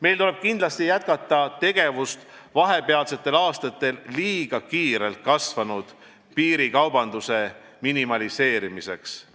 Meil tuleb kindlasti jätkata tegevust vahepealsetel aastatel liiga kiirelt kasvanud piirikaubanduse minimaliseerimiseks.